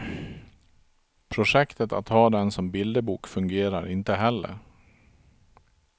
Projektet att ha den som bilderbok fungerar inte heller.